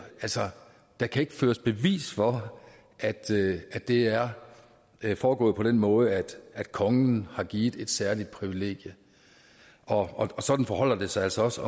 altså der kan ikke føres bevis for at det det er foregået på den måde at kongen har givet et særligt privilegium og sådan forholder det sig altså også